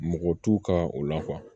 Mɔgɔ t'u ka o la